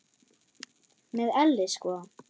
Með elli sko.